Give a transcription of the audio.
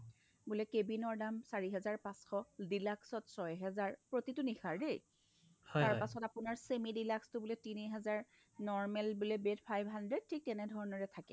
বোলে cabinৰ দাম চাৰিহাজাৰ পাচশ deluxe ত ছয়হাজাৰ প্ৰতিটো নিশাৰ দেই তাৰপাছত semi deluxe টো বোলে তিনিহাজাৰ normal বোলে bed five hundred ঠিক তেনেধৰণৰ এ থাকে